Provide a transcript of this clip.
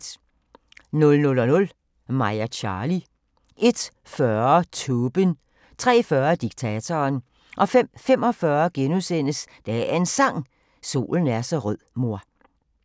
00:00: Mig og Charly 01:40: Tåben 03:40: Diktatoren 05:45: Dagens Sang: Solen er så rød mor *